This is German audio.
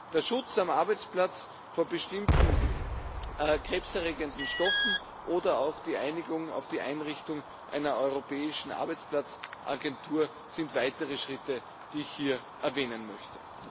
Der Schutz am Arbeitsplatz vor bestimmten krebserregenden Stoffen oder auch die Einigung auf die Einrichtung einer Europäischen Arbeitsagentur sind weitere Schritte, die ich hier erwähnen möchte.